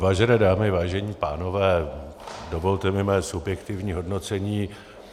Vážené dámy, vážení pánové, dovolte mi mé subjektivní hodnocení.